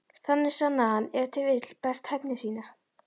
Þannig sannaði hann ef til vill best hæfni sína.